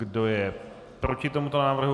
Kdo je proti tomuto návrhu?